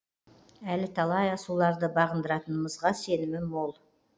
әлі талай асуларды бағындыратынымызға сенімім мол